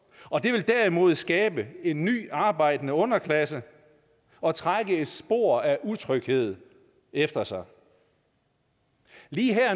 og det vil derimod skabe en ny arbejdende underklasse og trække et spor af utryghed efter sig lige her